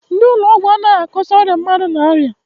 Ndị ụlọ ọgwụ adịghị akọsa ọrịa mmadụ n'aria.